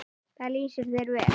Það lýsir þér vel.